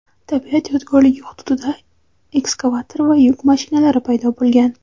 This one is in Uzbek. tabiat yodgorligi hududida ekskavator va yuk mashinalari paydo bo‘lgan.